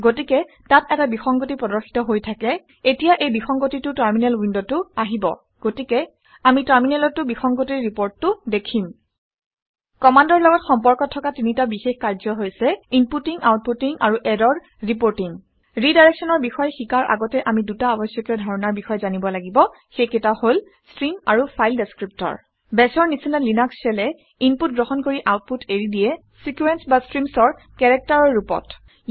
গতিকে তাত এটা বিসংগতি প্ৰদৰ্শিত হৈ থাকে। এতিয়া এই বিসংগতিটো টাৰমিনেল উইণ্ডত উইণ্ডতো আহিব। গতিকে আমি টাৰমিনেলত টাৰমিনেলতো বিসংগতিৰ ৰিপৰ্টিংটো দেখিম। কামাণ্ডৰ লগত সম্পৰ্ক থকা তিনিটা বিশেষ কাৰ্য হৈছে ইনপুটিং আউটপুটিং আৰু ইৰৰ ৰিপৰ্টিং ৰিডাইৰেক্সনৰ বিষয়ে শিকাৰ আগতে আমি দুটা আৱশ্যকীয় ধাৰণাৰ বিষয়ে জানিব লাগিব সেইকেইটা হল - ষ্ট্ৰিম আৰু ফাইল ডেচক্ৰিপটৰ। Bash ৰ নিচিনা লিনাক্স shell এ ইনপুট গ্ৰহণ কৰি আউটপুট এৰি দিয়ে চিকুৱেঞ্চ বা ষ্ট্ৰিমচ অৰ কেৰেক্টাৰৰ ৰূপত